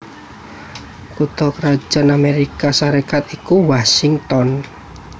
Kutha krajan Amérika Sarékat ya iku Washington